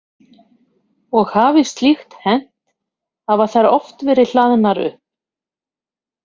Og hafi slíkt hent hafa þær oft verið hlaðnar upp.